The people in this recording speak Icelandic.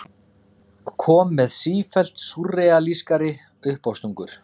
Kom með sífellt súrrealískari uppástungur.